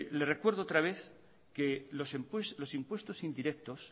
le recuerdo otra vez que los impuestos indirectos